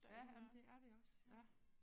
Ja jamen det er det også ja